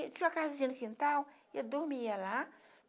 Tinha uma casinha no quintal e eu dormia lá.